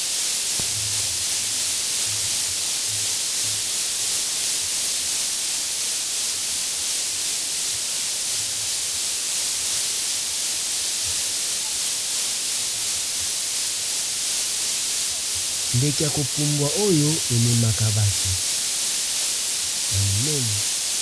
Ndeke ya kopumbwa oyo ememaka bato ya monene